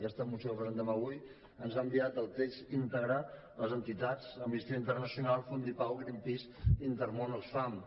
aquesta moció que presentem avui ens han enviat el text íntegre les entitats amnistia internacional fundipau greenpeace i intermón oxfam